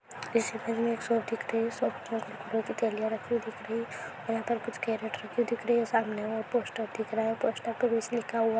एक दुकान दिखाई दे रही है इस्तेमाल पर खाने की चीजें राखी हुई है बोर्ड लगा हुआ है इस्तेमाल पर एसएम सुपर स्टोर लिखा हुआ है भैर पानी की बोतल पड़ी है।